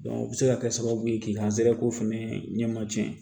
o bɛ se ka kɛ sababu ye k'i ka zɛrɛ ko fana ɲɛma tiɲɛ